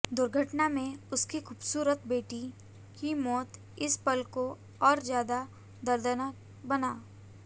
दुर्घटना में उनकी खूबसूरत बेटी की मौत इस पल को और ज्यादा दर्दनाक बना